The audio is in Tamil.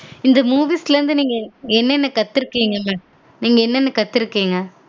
இந்த movies ல இருந்து நீங்க என்னனென்ன கத்துருகீங்கங்க